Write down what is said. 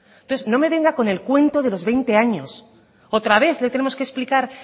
entonces no me venga con el cuento de los veinte años otra vez le tenemos que explicar